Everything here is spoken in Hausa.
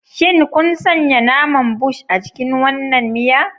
Shin kun sanya naman Bush a cikin wannan miya?